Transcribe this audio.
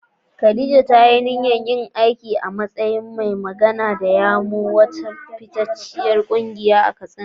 Khadija ta yi niyyar yin aiki a matsayin mai magana da yawun wata fitacciyar kungiya a Katsina.